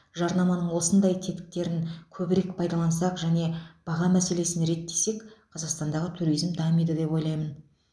жарнаманың осындай тетіктерін көбірек пайдалансақ және баға мәселесін реттесек қазақстандағы туризм дамиды деп ойлаймын